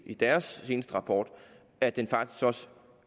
i deres seneste rapport at den faktisk også